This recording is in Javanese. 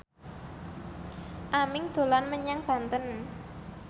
Aming dolan menyang Banten